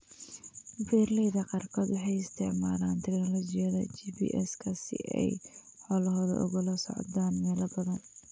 Beeralayda qaarkood waxay isticmaalaan tignoolajiyada GPS-ka si ay xoolahooda ugala socdaan meelo badan.